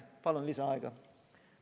Palun lisaaega!